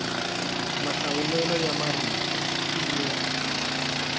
mahlawulelo ya marito i yo